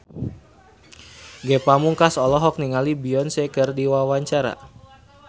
Ge Pamungkas olohok ningali Beyonce keur diwawancara